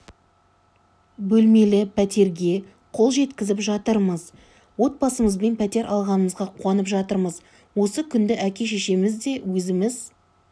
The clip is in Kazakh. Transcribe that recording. бөлмелі пәтерге қол жеткізіп жатырмыз отбасымызбен пәтер алғанымызға қуанып жатырмыз осы күнді әке-шешеміз де өзіміз